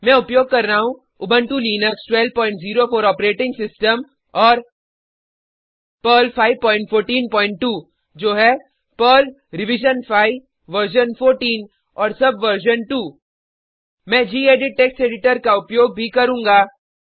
मैं उपयोग कर रहा हूँ उबंटु लिनक्स1204 ऑपरेटिंग सिस्टम और पर्ल 5142 जो है पर्ल रिविजन5 वर्जन 14 और सबवर्जन 2 मैं गेडिट टेक्स्ट एडिटर का उपयोग भी करूँगा